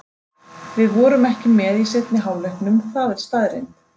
Við vorum ekki með í seinni hálfleiknum, það er staðreynd.